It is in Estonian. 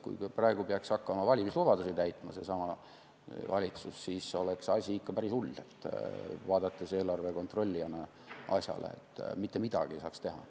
Kui praegu peaks seesama valitsus hakkama valimislubadusi täitma, siis oleks asi ikka päris hull, vaadates eelarve kontrollijana asjale, sest mitte midagi ei saaks teha.